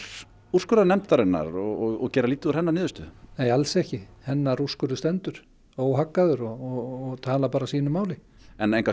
úrskurðarnefndarinnar og gera lítið úr hennar niðurstöðu nei alls ekki hennar úrskurður stendur óhaggaður og talar sínu máli en